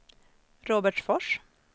Robertsfors